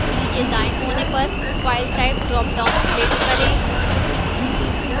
नीचे दाएं कोने पर file type ड्रापडाउन click करें